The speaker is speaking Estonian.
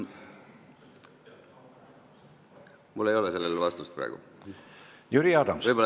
Mul ei ole sellele praegu vastust, võib-olla te oskate ise öelda.